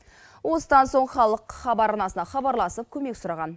осыдан соң халық хабар арнасына хабарласып көмек сұраған